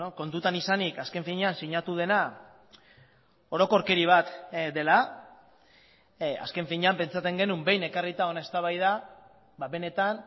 kontutan izanik azken finean sinatu dena orokorkeri bat dela azken finean pentsatzen genuen behin ekarrita hona eztabaida benetan